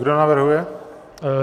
Kdo navrhuje?